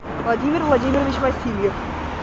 владимир владимирович васильев